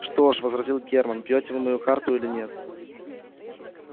что ж возразил германн бьёте вы мою карту или нет